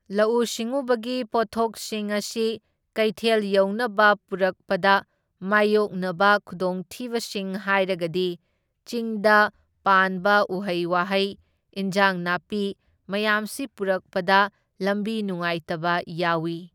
ꯂꯧꯎ ꯁꯤꯡꯎꯕꯒꯤ ꯄꯣꯠꯊꯣꯛꯁꯤꯡ ꯑꯁꯤ ꯀꯩꯊꯦꯜ ꯌꯧꯅꯕ ꯄꯨꯔꯛꯄꯗ ꯃꯥꯢꯌꯣꯛꯅꯕ ꯈꯨꯗꯣꯡꯊꯤꯕꯁꯤꯡ ꯍꯥꯏꯔꯒꯗꯤ ꯆꯤꯡꯗ ꯄꯥꯟꯕ ꯎꯍꯩ ꯋꯥꯍꯩ, ꯏꯟꯖꯥꯡ ꯅꯥꯄꯤ ꯃꯌꯥꯝꯁꯤ ꯄꯨꯔꯛꯄꯗ ꯂꯝꯕꯤ ꯅꯨꯡꯉꯥꯢꯇꯕ ꯌꯥꯎꯢ꯫